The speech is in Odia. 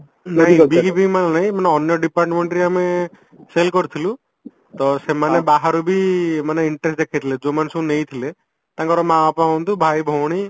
ନାଇଁ ନାହିଁ ମାନେ ଅନ୍ୟ departmentରେ ଆମେ cell କରିଥିଲୁ ତ ସେମାନେ ବାହାରୁ ବି ମାନେ ଯୋଉ ମାନେ ସବୁ ନେଇଥିଲେ ତାଙ୍କର ମା ବାପା ହୁଅନ୍ତୁ ଭାଇ ଭଉଣୀ